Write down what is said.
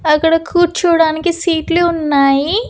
అక్కడ కూర్చోవడానికి సీట్లు ఉన్నాయి.